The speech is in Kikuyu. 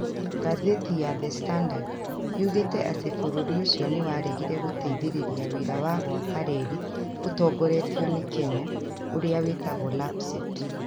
Ngathĩti ya The Standard yugagĩte atĩ bũrũri ũcio nĩ waregire gũteithĩrĩria wĩra wa gwaka reri ũtongoretio nĩ Kenya, ũrĩa wĩtagwo LAPSSET.